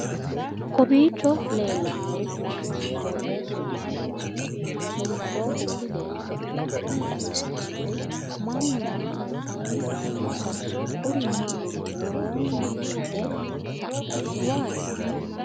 kowiicho leellannori maati ? qooxeessu maa lawaanno ? hiitoo kuuli leellanno ? tini xawissannori mannu maa assanni nooikka kuri maati woroonni hinge sa'nanniwaati